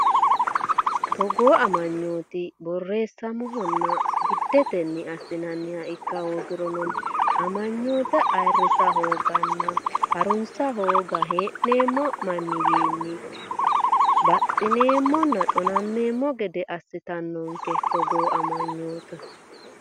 Togoo amanyooti borreessaminohanna giddetenni assinanniha ikka hoogirono, amanyoote ayirrisa hooganna ha’runsa hooga hee’neem- manniwayinni baxxineemmonna xonammeemmo gede assitannonke Togoo amanyooti.